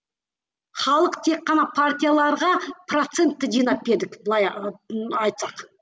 халық тек қана партияларға процентті жинап былай ы айтсақ